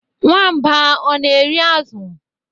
Nwamba ọ na-eri azụ?